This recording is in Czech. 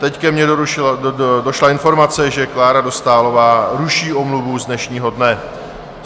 Teď ke mně došla informace, že Klára Dostálová ruší omluvu z dnešního dne.